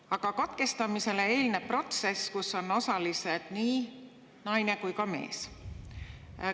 Aga katkestamisele eelneb protsess, kus on osalised nii naine kui ka mees.